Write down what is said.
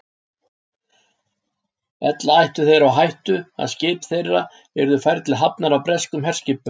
Ella ættu þeir á hættu, að skip þeirra yrðu færð til hafnar af breskum herskipum.